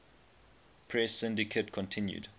press syndicate continued